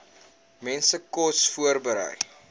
mense kos voorberei